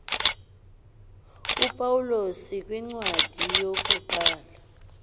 upawulos kwincwadi yokuqala